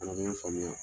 A bɛ n faamuya